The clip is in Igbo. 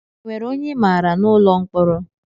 E nwere ọnye I maara nọ n'ụlọ mkpọrọ?